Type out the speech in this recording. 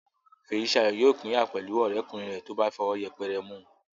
Fèyísayọ̀ yóò pínyà pẹ̀lú ọ̀rẹ́kùnrin rẹ̀ tó bá fọwọ́ yẹpẹrẹ mú un